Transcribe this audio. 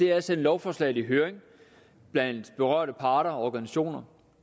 er at sende lovforslag i høring blandt berørte parter og organisationer